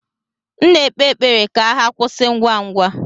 M na-ekpe ekpere ka agha kwụsị ngwa ngwa.